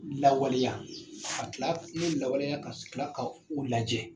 Lawaleya ka tila lawaleya ka tila ka u lajɛ.